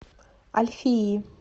альфии